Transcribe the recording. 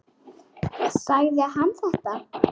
Sagði hann þetta?